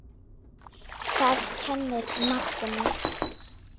Það kennir manni.